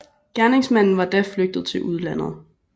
Gerningsmanden var da flygtet til udlandet